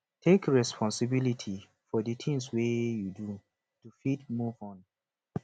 take responsibility for di things wey you do to fit move on